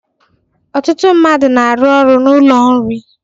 Ọtụtụ mmadụ na-arụ ọrụ n'ụlọ nri.